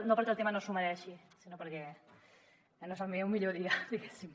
no perquè el tema no s’ho mereixi sinó perquè no és el meu millor dia diguéssim